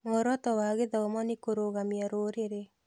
Muoroto wa gĩthomo nĩ kũrũgamia rũrĩrĩ.